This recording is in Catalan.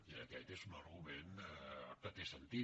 i aquest és un argument que té sentit